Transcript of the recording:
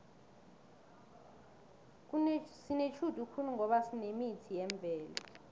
sinetjhudu khulu ngoba sinemithi yemvelo